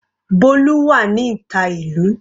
Bolu wà ní ìta ìlú.